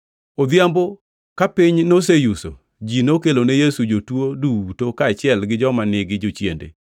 Odhiambono, ka piny noseyuso, ji nokelo ne Yesu jotuo duto kaachiel gi joma nigi jochiende.